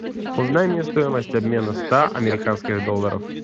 узнай мне стоимость обмена ста американских долларов